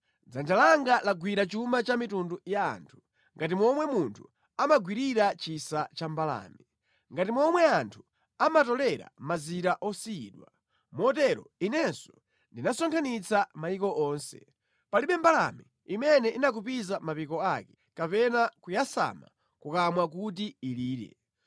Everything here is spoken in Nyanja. Dzanja langa lagwira chuma cha mitundu ya anthu ngati momwe munthu amagwirira chisa cha mbalame, ngati momwe anthu amatolera mazira osiyidwa, motero inenso ndinasonkhanitsa mayiko onse; palibe mbalame imene inakupiza mapiko ake, kapena kuyasama kukamwa kuti ilire.’ ”